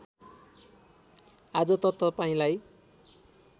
आज त तपाईँलाई